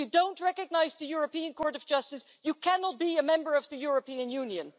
If you don't recognise the European Court of Justice, you cannot be a member of the European Union.